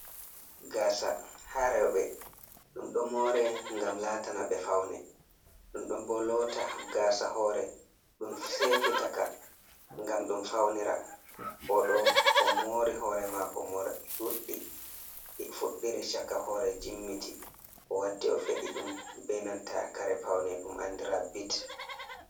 Gasa ha rewɓe ɗum ɗo more ngam latana ɓe faune ɗum ɗo bo lota gasa hore ɗum sefitaka ngam ɗum faunira oɗo o mori hore mako morɗi ɗuɗdi ɗi fuɗɗiri chaka hore jimmiti o waddi o feɗi ɗum benanta kare paune ɗum andira bit.